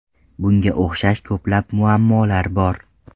Bunga o‘xshash ko‘plab muammolar bor.